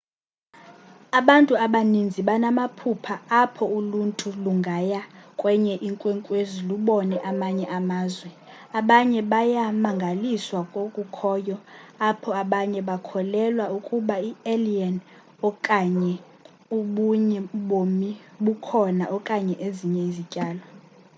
abantu abaninzi banamaphupha apho uluntu lungaya kwenye inkwenkwezi lubone amanye amazwe abanye bayamangaliswa kokukhoyo apho abanye bakholelwa ukuba i-alien okanye obunye ubomi bukhona okanye ezinye izityalo